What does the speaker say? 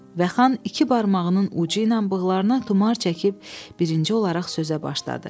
Və xan iki barmağının ucu ilə bığlarına tumar çəkib birinci olaraq sözə başladı.